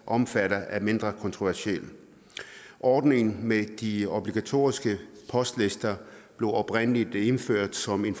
omfatter er mindre kontroversiel ordningen med de obligatoriske postlister blev oprindelig indført som en